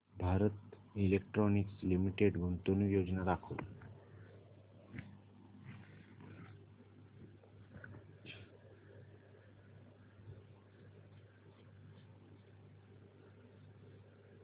Bharat electronics limited गुंतवणूक योजना दाखव